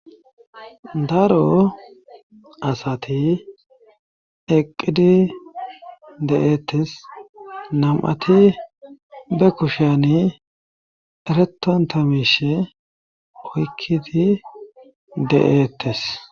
Daro asati eqqidi de7eettes nam7ati be kushiyani eretantamishe oykkidi de7eettes.